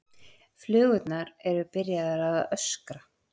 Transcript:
Flugurnar eru byrjaðar að öskra.